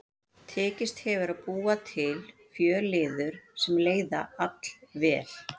Tekist hefur að búa til fjölliður sem leiða allvel.